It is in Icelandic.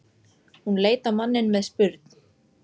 Hún leit á manninn með spurn.